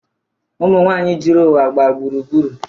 Ụmụnwaanyị juru ụwa gba gburugburu.